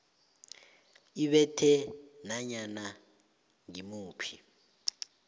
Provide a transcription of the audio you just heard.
ibethe nanyana ngimuphi